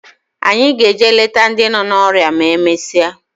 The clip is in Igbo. Anyị ga-eje leta ndị nọ n'ọrịa ma e mesịa